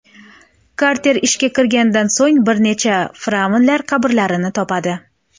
Karter ishga kirishganidan so‘ng bir nechta fir’avnlar qabrlarini topadi.